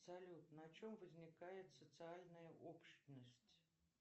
салют на чем возникает социальная общность